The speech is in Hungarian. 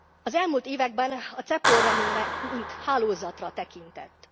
Az elmúlt években a CEPOL ra mindenki mint hálózatra tekintett.